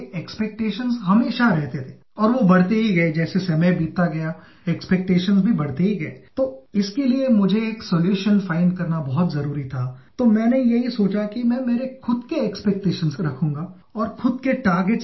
He has sent a message that I will read out to you